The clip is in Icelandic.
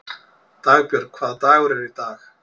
Dagbjörg, hvaða dagur er í dag?